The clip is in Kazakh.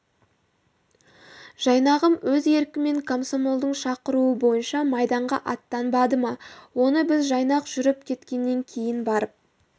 жайнағым өз еркімен комсомолдың шақыруы бойынша майданға аттанбады ма оны біз жайнақ жүріп кеткеннен кейін барып